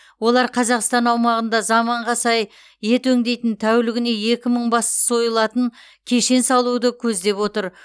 олар қазақстан аумағында заманға сай ет өңдейтін тәулігіне екі мың бас сойылатын кешен салуды көздеп отыр